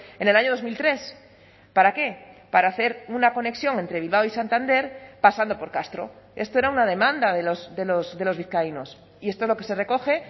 en el año dos mil tres para qué para hacer una conexión entre bilbao y santander pasando por castro esto era una demanda de los vizcaínos y esto es lo que se recoge